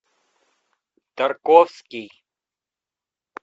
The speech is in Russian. тарковский